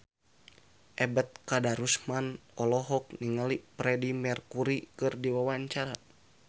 Ebet Kadarusman olohok ningali Freedie Mercury keur diwawancara